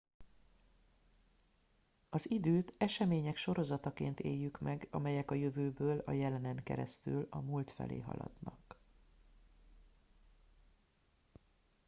az időt események sorozataként éljük meg amelyek a jövőből a jelenen keresztül a múlt felé haladnak